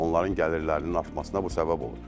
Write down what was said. Onların gəlirlərinin artmasına bu səbəb olur.